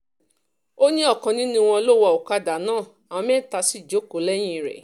ó ní ọ̀kan nínú wọn ló ń wá ọ̀kadà náà àwọn mẹ́ta sì jókòó lẹ́yìn rẹ̀